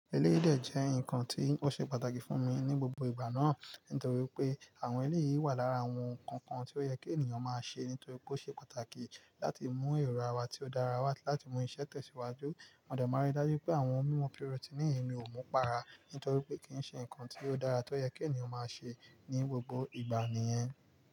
Eléyìí de jẹ́ nǹkan tí ó ṣe pàtàkì fún mi ní gbogbo ìgbà náà, nítorí pé àwọn eléyìí wà lára àwọn nǹkan kan tí ó yẹ kí ènìyàn máa ṣe, nítorí pé ó ṣe pàtàkì láti mú èrò àwa tí ó dára wá láti mú iṣẹ́ tẹ̀síwájú. À de ma rí dájú pé àwọn mímu pirọtínìì mi ò mú para, nítorí pé kì í ṣe ǹkan tí ó dára tó yẹ kí ènìyàn máa ṣe ní gbogbo ìgbà nìyẹn.